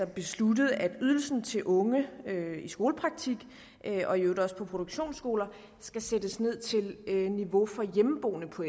besluttet at ydelsen til unge i skolepraktik og i øvrigt også på produktionsskoler skal sættes ned til niveau for hjemmeboende på